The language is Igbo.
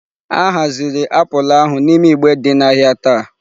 A haziri apụl ahụ n'ime igbe dị n'ahịa taa.